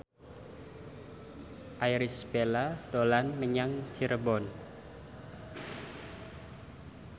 Irish Bella dolan menyang Cirebon